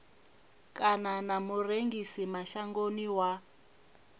kana na murengisi mashangoni wa